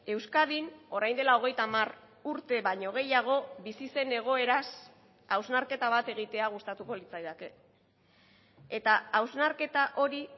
euskadin orain dela hogeita hamar urte baino gehiago bizi zen egoeraz hausnarketa bat egitea gustatuko litzaidake eta hausnarketa hori